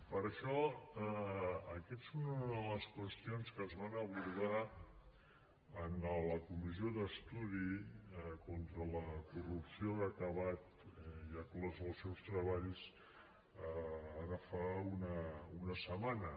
per això aquesta és una de les qüestions que es van abordar en la comissió d’estudi contra la corrupció que ha acabat ja ha clos els seus treballs ara fa una setmana